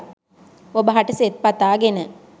ඔබ හට සෙත් පතාගෙන